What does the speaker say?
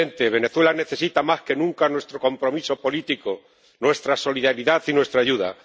Venezuela necesita más que nunca nuestro compromiso político, nuestra solidaridad y nuestra ayuda.